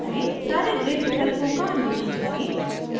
सारे grid विकल्पों का अन्वेषण करें